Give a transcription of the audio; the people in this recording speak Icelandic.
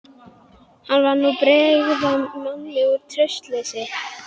Guðmundur var allra manna hæstur en lítillega boginn í baki.